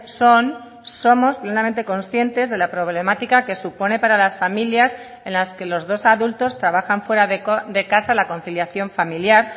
son somos plenamente conscientes de la problemática que supone para las familias en las que los dos adultos trabajan fuera de casa la conciliación familiar